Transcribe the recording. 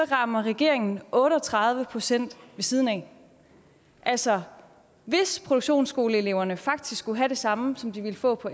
rammer regeringen otte og tredive procent ved siden af altså hvis produktionsskoleeleverne faktisk skulle have det samme som de ville få på